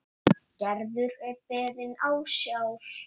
Gerður er beðin ásjár.